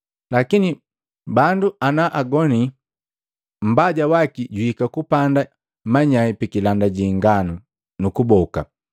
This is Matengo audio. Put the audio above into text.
Lakini bandu ana agoni, mbaja waki juhika nukupanda manyai pikilanda ji inganu, nu kuboka.